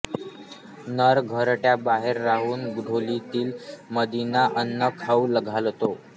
नर घरट्याबाहेर राहून ढोलीतील मादीला अन्न खाऊ घालतो